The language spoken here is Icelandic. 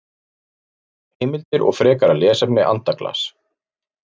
Heimildir og frekara lesefni Andaglas.